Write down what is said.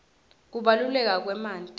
kubaluleka kwemanti